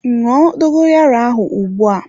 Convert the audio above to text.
Ṅụọ dogoyaro ahụ ugbua!